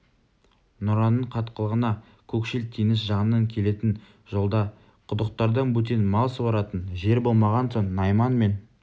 нұраның қатқылына көкшіл теңіз жағынан келетін жолда құдықтардан бөтен мал суаратын жер болмаған соң найман мен